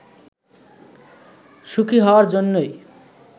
সুখি হওয়ার জন্যই